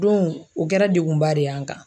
Dɔnku o kɛra degunba de y'an kan.